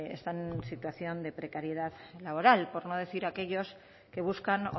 están en situación de precariedad laboral por no decir aquellos que buscan